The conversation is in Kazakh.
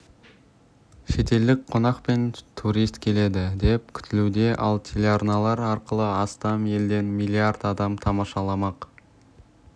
шетелдік қонақ пен турист келеді деп күтілуде ал телеарналар арқылы астам елден млрд адам тамашаламақ